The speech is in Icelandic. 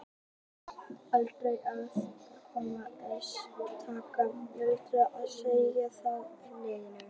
Aldrei er hægt að taka utanlegsfóstur og setja það inn í legholið.